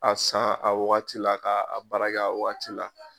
K'a san a waati la, k'a baara a waati la.